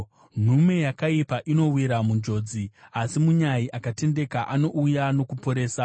Nhume yakaipa inowira munjodzi, asi munyai akatendeka anouya nokuporesa.